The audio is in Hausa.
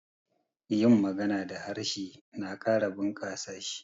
yin magana da harshe na Kara bukasa s hi